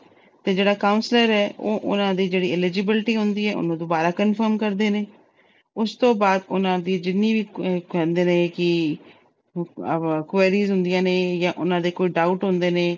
ਤੇ ਜਿਹੜਾ counselor ਆ, ਉਹਨਾਂ ਦੀ eligibility ਹੁੰਦੀ ਆ, ਉਹਨੂੰ ਦੁਬਾਰਾ confirm ਕਰਦੇ ਨੇ। ਉਸ ਤੋਂ ਬਾਅਦ ਉਹਨਾਂ ਦੀ ਜਿੰਨੀ ਵੀ ਕਹਿੰਦੇ ਨੇ ਕਿ queries ਅਹ ਹੁੰਦੀਆਂ ਨੇ ਜਾਂ ਉਹਨਾਂ ਦੇ ਕੋਈ doubt ਹੁੰਦੇ ਨੇ